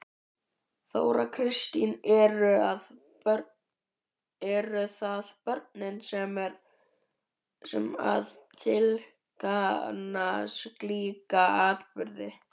Þóra Kristín: Eru það börnin sem að tilkynna slíka atburði?